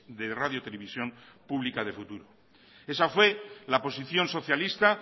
de radio televisión pública de futuro esa fue la posición socialista